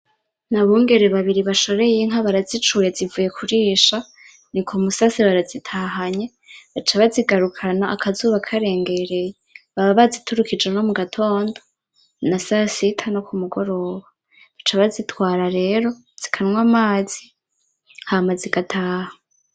Nabongere babiri bashoreye inka barazicuye zivuye kurisha nil’umusasira arazitahanye baca bazigarukana akazuba karengereye baba baziturikishe nko mugatondo na saa sita no kumugoroba baca bazitwara rero zikanwa amazi hama zigataha.